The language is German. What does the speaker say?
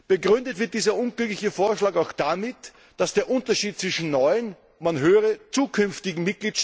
Begründet wird dieser unglückliche Vorschlag auch damit, dass der Unterschied zwischen neuen man höre zukünftigen!